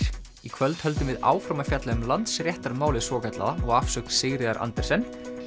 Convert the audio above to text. í kvöld höldum við áfram að fjalla um Landsréttarmálið svokallaða og afsögn Sigríðar Andersen